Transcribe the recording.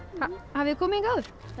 hafið þið komið hingað áður